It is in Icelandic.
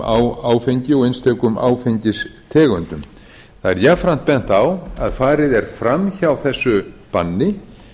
á áfengi og einstökum áfengistegundum það er jafnframt bent á að farið er fram hjá þessu banni